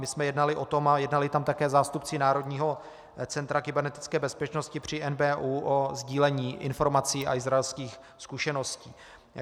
My jsme jednali o tom, a jednali tam také zástupci Národního centra kybernetické bezpečnosti při NBÚ, o sdílení informací a izraelských zkušeností.